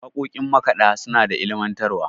waƙoƙin makaɗa suna da ilimantarwa